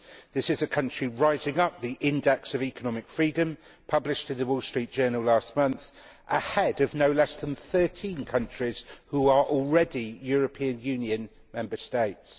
This is a country rising up the index of economic freedom published in the Wall Street Journal last month, ahead of no less than 13 countries which are already European Union Member States.